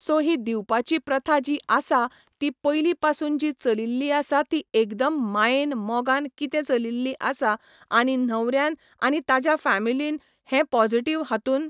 so ही दिवपाची प्रथा जी आसा ती पयली पासून जी चलील्ली आसा ती एकदम मायेन मोगान कितें चलिल्ली आसा आनी न्हवऱ्यान आनी ताज्या फॅमलीन हे पोजिटिव हातून